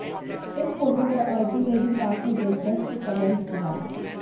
इस फोटो पर अर्जुन ने भी काफी दिलचस्प कमेंट किया